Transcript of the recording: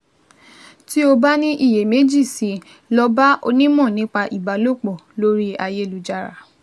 Tí o bá ní iyèméjì sí i, lọ bá onímọ̀ nípa ìbálòpọ̀ lórí ayélujára